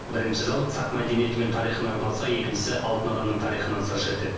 бірінші зал сақ мәдениеті мен тарихына арналса екіншісі алтын адамның тарихынан сыр шертеді